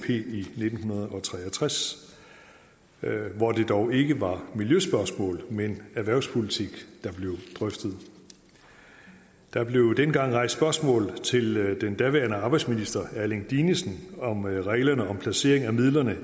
i nitten tre og tres hvor det dog ikke var miljøspørgsmål men erhvervspolitik der blev drøftet der blev dengang rejst spørgsmål til den daværende arbejdsminister erling dinesen om reglerne om placering af midlerne i